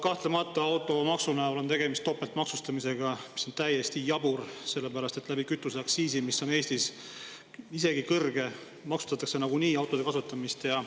Kahtlemata on automaksu näol tegemist topeltmaksustamisega, mis on täiesti jabur, sellepärast et kütuseaktsiisiga, mis on Eestis isegi kõrge, maksustatakse nagunii autode kasutamist.